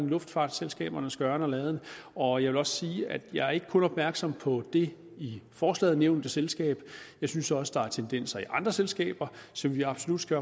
luftfartsselskabernes gøren og laden og jeg vil også sige at jeg ikke kun er opmærksom på det i forslaget nævnte selskab jeg synes også der er tendenser i andre selskaber som vi absolut skal